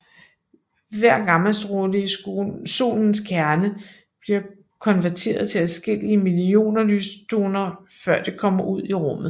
Hver gammastråle i solens kerne bliver konverteret til adskillige millioner lysfotoner før det kommer ud i rummet